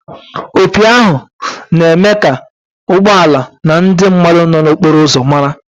Opi ahụ na-eme ka ụgbọ ala na ndị mmadụ nọ n'okporo ụzọ mara.